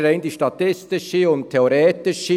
Es ist die rein statistische und theoretische Seite: